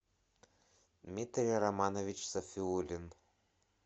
дмитрий романович сафиулин